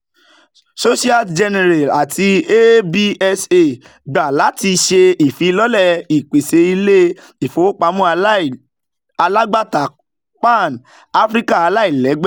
societe generale ati absa gba lati ṣe ifilọlẹ ipese ile-ifowopamọ alagbata pan-african alailẹgbẹ